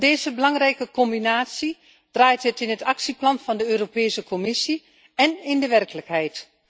Om deze belangrijke combinatie draait het in het Actieplan van de Europese Commissie en in de werkelijkheid.